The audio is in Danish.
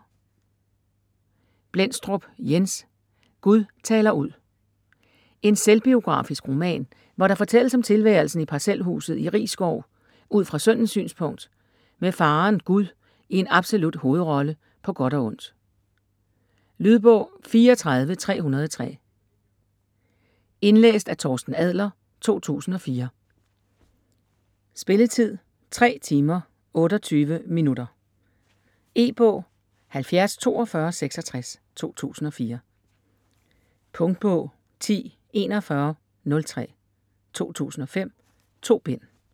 Blendstrup, Jens: Gud taler ud En selvbiografisk roman, hvor der fortælles om tilværelsen i parcelhuset i Risskov ud fra sønnens synspunkt, med faderen, Gud, i en absolut hovedrolle, på godt og ondt. Lydbog 34303 Indlæst af Torsten Adler, 2004. Spilletid: 3 timer, 28 minutter. E-bog 704266 2004. Punktbog 104103 2005. 2 bind.